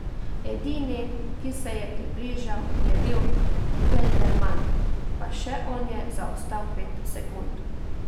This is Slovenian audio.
Edini, ki se je približal, je bil Kelderman, pa še on je zaostal pet sekund.